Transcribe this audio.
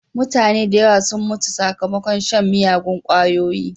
Mutane da yawa sun mutu sakmakon shan miyagun ƙwayoyi.